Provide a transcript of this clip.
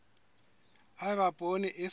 ha eba poone e sa